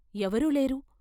ఎవరూ లేరు.